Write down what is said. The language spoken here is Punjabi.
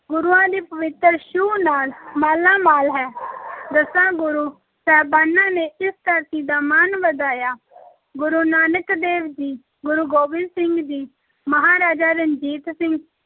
ਗੁਰੂਆਂ ਦੀ ਪਵਿੱਤਰ ਛੂਹ ਨਾਲ ਮਾਲਾਮਾਲ ਹੈ ਦਸਾਂ ਗੁਰੂ ਸਾਹਿਬਾਨਾਂ ਨੇ ਇਸ ਧਰਤੀ ਦਾ ਮਾਣ ਵਧਾਇਆ ਗੁਰੂ ਨਾਨਕ ਦੇਵ ਜੀ, ਗੁਰੂ ਗੋਬਿੰਦ ਸਿੰਘ ਜੀ, ਮਹਾਰਾਜਾ ਰਣਜੀਤ ਸਿੰਘ,